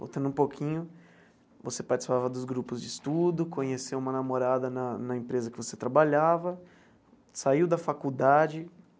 Voltando um pouquinho, você participava dos grupos de estudo, conheceu uma namorada na na empresa que você trabalhava, saiu da faculdade.